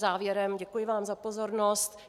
Závěrem, děkuji vám za pozornost.